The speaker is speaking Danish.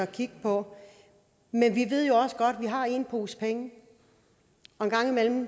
kigge på men vi ved jo også godt at vi har én pose penge og en gang imellem